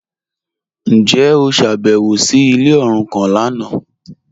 Njẹ o ṣábẹ̀wò sí ilẹ̀ orúkàn lánà?